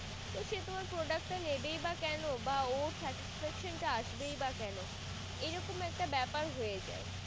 তো সে তোমার product তা নেবেই বা কোনো বা ওর satisfaction তা আসবেই বা কেন এরকম একটা বেপার হয় যায়